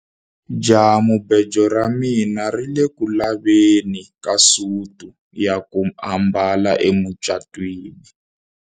Jahamubejo ra mina ri ku le ku laveni ka suti ya ku ambala emucatwini.